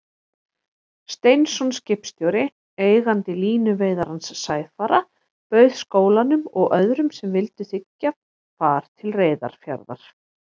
Steinsson skipstjóri, eigandi línuveiðarans Sæfara, bauð skólanum og öðrum sem vildu þiggja, far til Reyðarfjarðar.